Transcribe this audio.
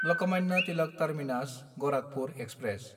लकमानआ Tilak टार्मिनास–गराखपुर express